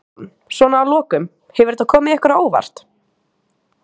Jón: Svona að lokum, hefur þetta komið ykkur á óvart?